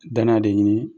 Danaya de ɲini